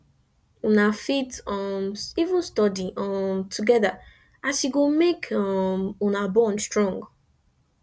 una fit um even study um togeda as e go mek um una bond strong